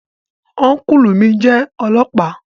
Ọ́nkùlù mi jẹ́ ọlọ́ọ̀pá